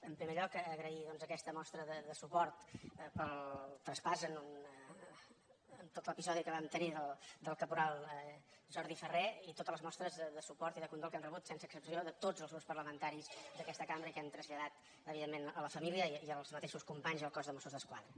en primer lloc agrair doncs aquesta mostra de suport pel traspàs en tot l’episodi que vam tenir del caporal jordi farré i totes les mostres de suport i de condol que hem rebut sense excepció de tots els grups parlamentaris d’aquesta cambra i que hem traslladat evidentment a la família i als mateixos companys i al cos de mossos d’esquadra